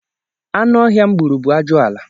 Anụọhịa m gburu bụ ajụala